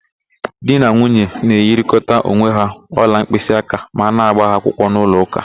Di na nwunye na-enyerịkọta onwe ha ọla mkpịsịaka ma a na-ágbà ha akwụkwọ n'ụlọụka